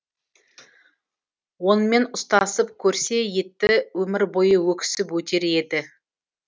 онымен ұстасып көрсе етті өмір бойы өксіп өтер еді